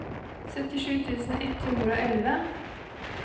syttisju tusen ett hundre og elleve